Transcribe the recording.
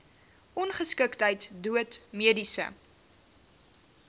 ongeskiktheid dood mediese